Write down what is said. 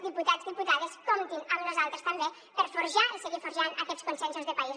diputats i diputades comptin amb nosaltres també per forjar i seguir forjant aquests consensos de país